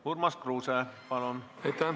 Urmas Kruuse, palun!